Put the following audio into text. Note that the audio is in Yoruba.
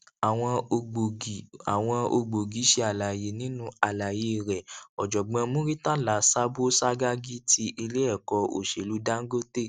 àwọn ògbógi àwọn ògbógi ṣe àlàyé nínú àlàyé rẹ òjògbón murtala sabo sagagi ti ilé ẹkọ òṣèlú dangote